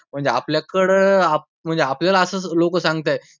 म्हणजे आपल्याकडे म्हणजे आपल्याला असं लोकं सांगत आहेत.